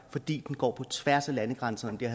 fordi den går på tværs af landegrænserne